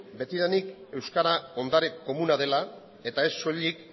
betidanik euskara ondare komuna dela eta ez soilik